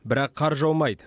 бірақ қар жаумайды